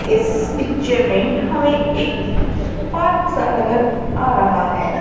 इस पिक्चर में हमें एक पार्क सा नजर आ रहा है।